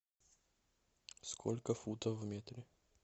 сколько футов в метре